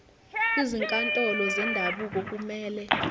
izinkantolo zendabuko kumele